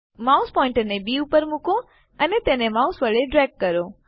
mouse પોઇન્ટરને B ઉપર મુકો અને તેને માઉસ વડે ડ્રેગ કરો